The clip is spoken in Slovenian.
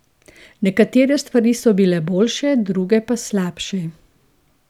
Nekatere stvari so bile boljše, druge pa slabše.